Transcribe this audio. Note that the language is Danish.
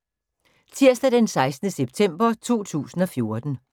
Tirsdag d. 16. september 2014